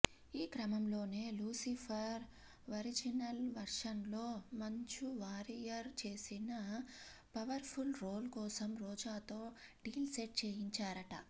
ఈ క్రమంలోనే లూసిఫర్ ఒరిజినల్ వర్షన్లో మంజు వారియర్ చేసిన పవర్ఫుల్ రోల్ కోసం రోజాతో డీల్ సెట్ చేయించారట